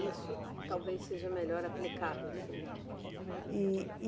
Isso talvez seja melhor aplicado assim, na. E, e